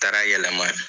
Taara yɛlɛma